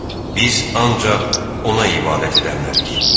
Biz ancaq ona ibadət edənlərik.